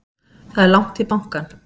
Það er langt í bankann!